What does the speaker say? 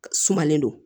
Sumalen don